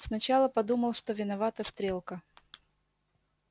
сначала подумал что виновата стрелка